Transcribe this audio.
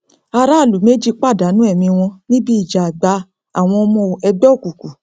aráàlú méjì pàdánù ẹmí wọn níbi ìjà àgbà àwọn ọmọ ẹgbẹ òkùnkùn